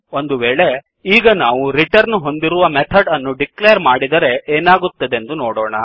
ಒಂದು ವೇಳೆ ಈಗ ನಾವು ರಿಟರ್ನ್ ಹೊಂದಿರುವ ಮೆಥಡ್ ಅನ್ನು ಡಿಕ್ಲೇರ್ ಮಾಡಿದರೆ ಎನಾಗುತ್ತದೆಂದು ನೋಡೋಣ